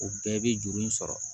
O bɛɛ bɛ juru in sɔrɔ